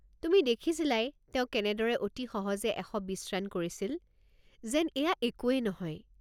তুমি দেখিছিলাই, তেওঁ কেনেদৰে অতি সহজে ১২০ ৰান কৰিছিল, যেন এইয়া একোৱেই নহয়।